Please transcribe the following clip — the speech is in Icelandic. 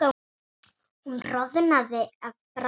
Hún roðnaði af bræði.